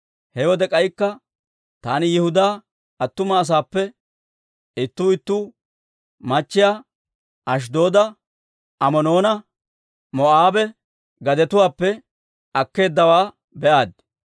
He wode k'aykka taani Yihudaa attuma asaappe ittuu ittuu machchiyaa Ashddooda, Amoonanne Moo'aabe gadetuwaappe akkeeddawaa be'aaddi.